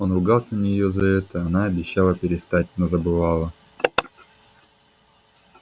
он ругался на неё за это она обещала перестать но забывала